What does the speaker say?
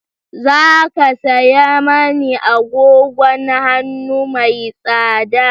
Za ka saya mani agogon hannu mai tsada?